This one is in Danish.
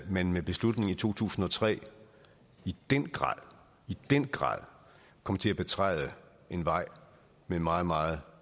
man med beslutningen i to tusind og tre i den grad den grad kom til at betræde en vej med meget meget